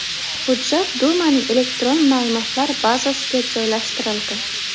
Hujjat Dumaning elektron ma’lumotlar bazasiga joylashtirildi.